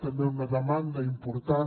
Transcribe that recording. també una demanda important